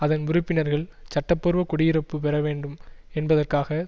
அதன் உறுப்பினர்கள் சட்ட பூர்வ குடியிருப்பு பெற வேண்டும் என்பதற்காக